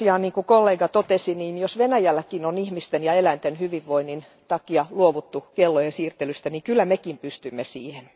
Kuten kollega totesi, jos Venäjälläkin on ihmisten ja eläinten hyvinvoinnin takia luovuttu kellojen siirtelystä, niin kyllä mekin pystymme siihen.